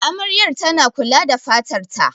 Amaryar tana kula da fatar ta.